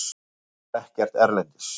Það var ekkert erlendis.